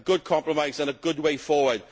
A good compromise and a good way forward